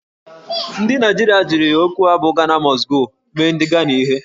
Ndị Naijiria jiri okwu a bụ "Ghana Must Go" mee ndị Ghana ihe